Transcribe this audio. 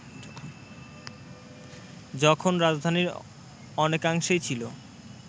যখন রাজধানীর অনেকাংশে ছিল